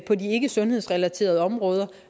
på de ikkesundhedsrelaterede områder